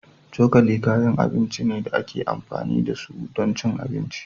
Cokali kayan abinci ne da ake amfani da su don cin abinci